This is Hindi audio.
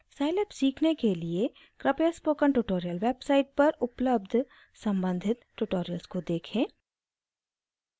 scilab सीखने के लिए कृपया स्पोकन ट्यूटोरियल वेबसाइट पर उपलब्ध सम्बंधित ट्यूटोरियल्स को देखें